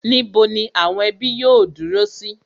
Níbo ni àwọn ẹbí yóò dúró sí?